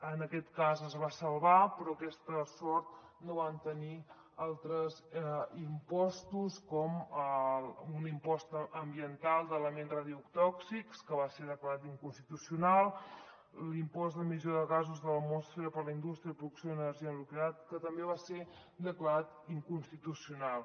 en aquest cas es va salvar però aquesta sort no la van tenir altres impostos com un impost ambiental d’elements radiotòxics que va ser declarat inconstitucional l’impost d’emissió de gasos de l’atmosfera per a la indústria de producció d’energia nuclear que també va ser declarat inconstitucional